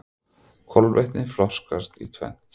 Kolvetni flokkast í tvennt.